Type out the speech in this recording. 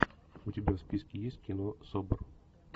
у тебя в списке есть кино собр